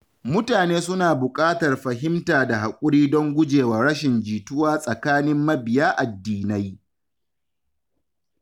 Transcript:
Mutane suna buƙatar fahimta da haƙuri don guje wa rashin jituwa tsakanin mabiya addinai.